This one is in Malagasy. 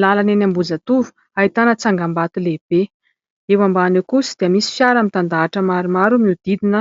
Lalana eny Ambohijatovo ahitana tsangambato lehibe, eo ambany eo kosa dia misy fiara mitandahatra maromaro miodidina